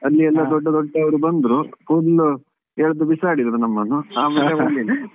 ಅಲ್ಲಿ ಎಲ್ಲಾ ದೊಡ್ಡ ದೊಡ್ಡ ಎಲ್ಲಾ ಬಂದ್ರು full ಎಳ್ದು ಬಿಸಾಡಿದ್ರು ನಮ್ಮನ್ನು ಆಮೇಲೆ ಹೋಗ್ಲಿಲ್ಲ.